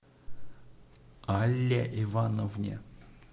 алле ивановне